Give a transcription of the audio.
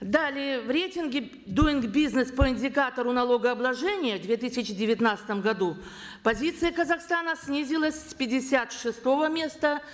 далее в рейтинге дуин бизнес по индикатору налогообложения в две тысячи девятнадцатом году позиция казахстана снизилась с пятьдесят шестого места